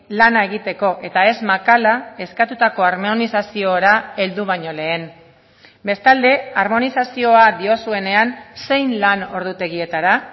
lana egiteko eta ez makala eskatutako harmonizaziora heldu baino lehen bestalde harmonizazioa diozuenean zein lan ordutegietara